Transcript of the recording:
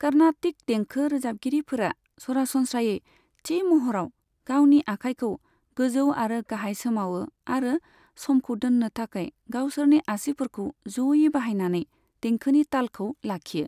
कार्नाटिक देंखो रोजाबगिरिफोरा सरासनस्रायै थि महरआव गावनि आखाइखौ गोजौ आरो गाहाय सोमावो आरो समखौ दोननो थाखाय गावसोरनि आसिफोरखौ ज'यै बाहायनानै देंखोनि तालखौ लाखियो।